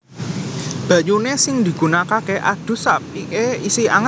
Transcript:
Banyune sing digunakake adus apike isih anget